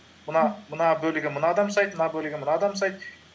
мына бөлігін мына адам жасайды мына бөлігін мына адам жасайды